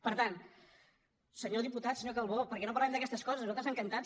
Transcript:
per tant senyor diputat senyor calbó per què no parlem d’aquestes coses nosaltres encantats